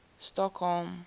stockholm